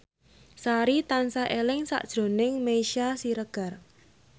Sari tansah eling sakjroning Meisya Siregar